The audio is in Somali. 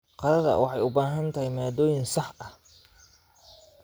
Qadada waxay u baahan tahay maaddooyinka saxda ah.